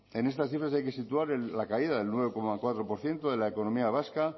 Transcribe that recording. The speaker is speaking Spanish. en estas cifras hay que situar la caída del nueve coma cuatro por ciento de la economía vasca